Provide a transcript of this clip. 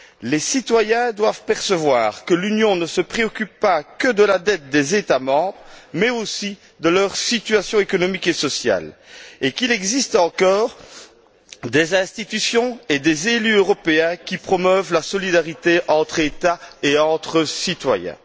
Les citoyens doivent percevoir que l'Union ne se préoccupe pas que de la dette des États membres, mais aussi de leur situation économique et sociale et qu'il existe encore des institutions et des élus européens qui promeuvent la solidarité entre États et entre citoyens.